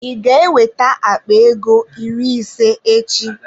Ị ga-eweta akpa ego iri ịse echi?